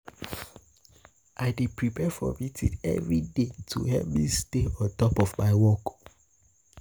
I dey prepare for meetings every day to help me stay on top of my work.